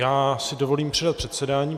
Já si dovolím předat předsedání.